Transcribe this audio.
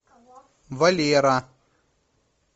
валера